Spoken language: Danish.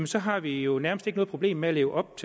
så har vi jo nærmest ikke noget problem med at leve op